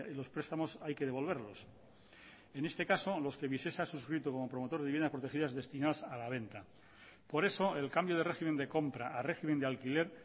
los prestamos hay que devolverlos en este caso los que visesa ha suscrito como promotor de viviendas protegidas destinadas a la venta por eso el cambio de régimen de compra a régimen de alquiler